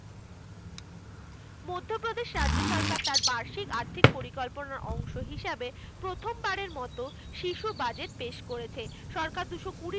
মধ্যপ্রদেশ রাজ্য সরকার তার বার্ষিক আর্থিক পরিকল্পনার অংশ হিসাবে প্রথমবারের মতো শিশু budget পেশ করেছে। সরকার দুশো কুড়ি